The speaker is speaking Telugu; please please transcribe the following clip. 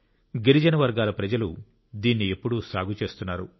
గిరిజన వర్గాల ప్రజలు దీన్ని ఎప్పుడూ సాగు చేస్తున్నారు